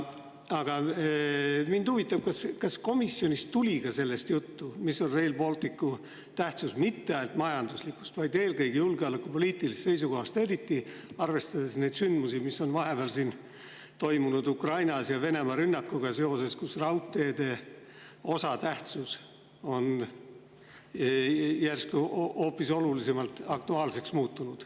Aga mind huvitab, kas komisjonis oli ka sellest juttu, mis on Rail Balticu tähtsus mitte ainult majanduslikust, vaid eelkõige julgeolekupoliitilisest seisukohast, arvestades neid sündmusi, mis on vahepeal, Venemaa rünnakuga seoses, toimunud Ukrainas, kus raudteed on järsku eriti aktuaalseks muutunud.